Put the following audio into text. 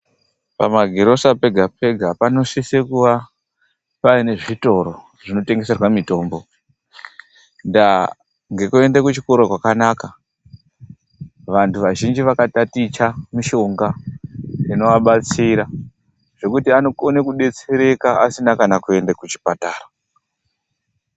Pamagirosa pega-pega panosisa kuwa paine zvotoro zvinotengeserwa mitombo. Ndaa ngekuenda kuchikora kwakanaka, vantu vazhinji vakataticha mishonga inovabatsira zvekuti anokone kubetsereka asina kana kuende kuchipatara.